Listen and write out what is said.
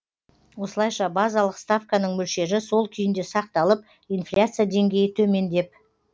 осылайша базалық ставканың мөлшері сол күйінде сақталып инфляция деңгейі төмендеп